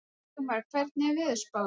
Sigmar, hvernig er veðurspáin?